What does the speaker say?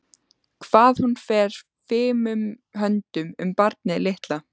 Hvað hún fer fimum höndum um barnið litla.